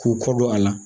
K'u kɔ don a la